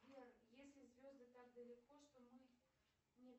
сбер если звезды так далеко что мы не